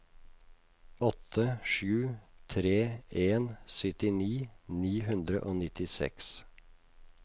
åtte sju tre en syttini ni hundre og nittiseks